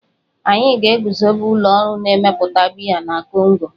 Anyị ga-eguzobe ụlọ ọrụ na-emepụta biya na Kongo.